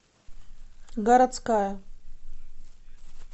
городская